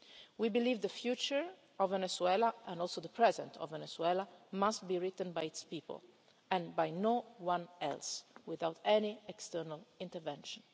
in respect. We believe that the future of Venezuela and also the present of Venezuela must be written by its people and no one else, without any external